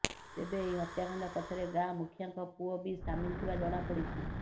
ତେବେ ଏହି ହତ୍ୟାକାଣ୍ଡ ପଛରେ ଗାଁ ମୁଖିଆଙ୍କ ପୁଅ ବି ସାମିଲ ଥିବା ଜଣାପଡ଼ିଛି